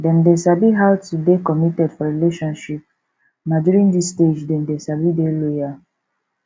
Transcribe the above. dem dey sabi how to dey committed for relationship na during this stage dem dey sabi dey loyal